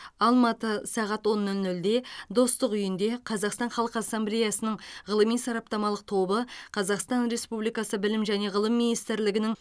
алматы сағат он нөл нөлде достық үйінде қазақстан халқы ассамблеясының ғылыми сараптамалық тобы қазақстан республикасы білім және ғылым министрлігінің